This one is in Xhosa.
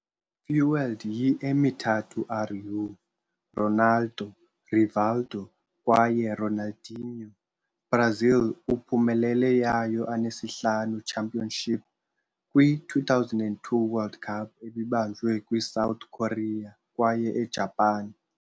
Fuelled yi Emithathu R u-Ronaldo, Rivaldo kwaye Ronaldinho, Brazil uphumelele yayo anesihlanu championship kwi - 2002 World Cup, ebibanjwe kwi South Korea kwaye Ejapan.